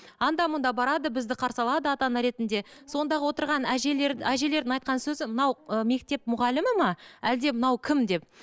анда мында барады бізді қарсы алады ата ана ретінде сондағы отырған әжелер әжелердің айтқан сөзі мынау ы мектеп мұғалімі ме әлде мынау кім деп